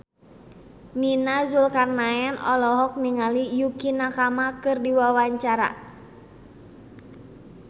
Nia Zulkarnaen olohok ningali Yukie Nakama keur diwawancara